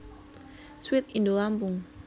Sweet Indolampung